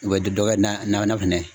U bɛ dɔ dɔ kɛ na na na fana ye.